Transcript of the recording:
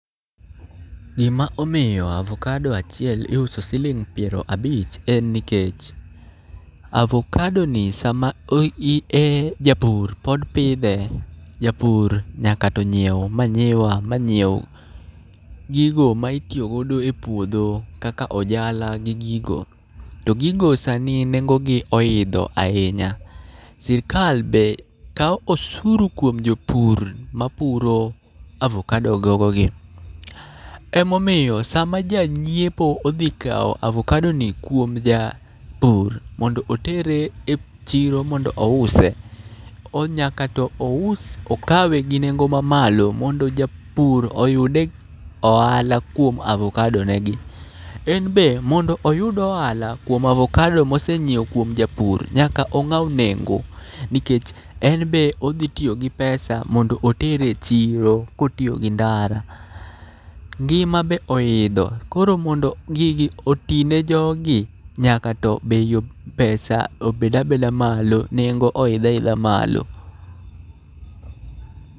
Gima omiyo avokado achiel iuso siling' piero abich en nikech, avokado ni sama o i e, japur pod pidhe. Japur nyaka to nyiew manyiwa ma nyiew gigo ma itiyogo e puodho kaka ojala gi gigo. To gigo sani nengogi oidho ahinya, sirkal be kawo osuru kuom jopur ma puro avokado gogo gi. Emomiyo sama janyiepo odhi kawo avokado ni kuom ja pur mondo otere e chiro mondo ouse. Nyaka to ous okawe gi nengo ma malo mondo japur oyude ohala kuom avokadonegi. En be mondo oyud ohala kuom avokado mosenyiewo kuom japur, nyaka ong'aw nengo. Nikech en be odhi tiyo gi pesa modno oter e chiro kotiyo gi ndara. Ngima be oidho, koro mondo gigi oti ne jogi, nyaka to bei pesa obed abeda malo, nengo obed abeda malo.